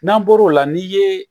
N'an bɔr'o la n'i ye